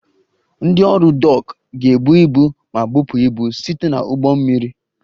Ndị ọrụ Dock ga-ebu ibu ma bupụ ibu site na ụgbọ mmiri